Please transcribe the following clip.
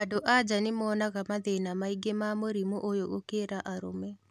Andũ anja nĩ moonaga mathĩna maingĩ ma mũrimu ũyũ gũkĩra arũme